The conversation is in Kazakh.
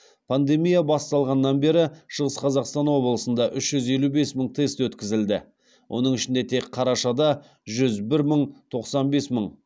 пандемия басталғаннан бері шығыс қазақстан облысында үш жүз елі бес мың тест өткізілді оның ішінде тек қарашада жүз бір мың тоқсан бес мың